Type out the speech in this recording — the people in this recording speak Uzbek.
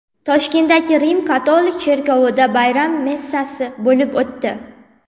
Toshkentdagi Rim-katolik cherkovida bayram messasi bo‘lib o‘tdi.